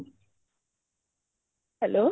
hello